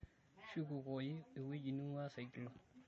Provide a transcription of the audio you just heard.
shukukoyu ewuji ning'uaa Saigilu